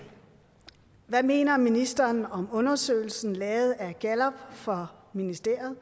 hvad mener ministeren om undersøgelsen lavet af gallup for ministeriet